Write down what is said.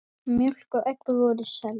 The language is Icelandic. Mjólk og egg voru seld.